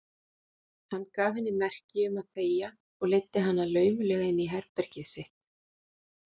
Hann gaf henni merki um að þegja og leiddi hana laumulega inn í herbergið sitt.